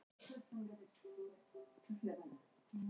Rannsaka alvarleg mannréttindabrot